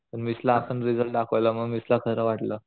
मग मिस ला आपण रिसल्ट दाखवला मग मिस ला खार वाटलं